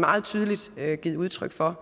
meget tydeligt givet udtryk for